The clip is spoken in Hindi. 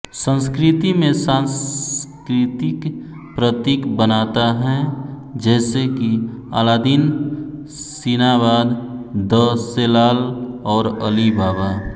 संस्कृति में सांस्कृतिक प्रतीक बनाता हैं जैसे कि अलादीन सिनाबाद द सेलाल और अली बाबा